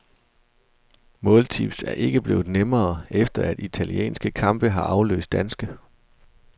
Måltips er ikke blevet nemmere, efter at italienske kampe har afløst danske.